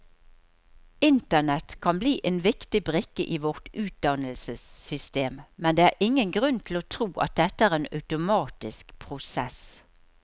Internett kan bli en viktig brikke i vårt utdannelsessystem, men det er ingen grunn til å tro at dette er en automatisk prosess.